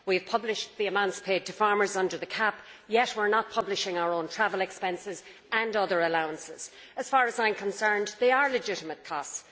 We have published the amounts paid to farmers under the CAP, yet we are not publishing our own travel expenses and other allowances. As far as I am concerned, they are legitimate costs.